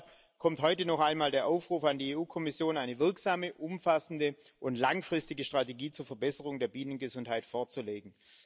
Deshalb kommt heute noch einmal der Aufruf an die EU Kommission, eine wirksame, umfassende und langfristige Strategie zur Verbesserung der Bienengesundheit vorzulegen.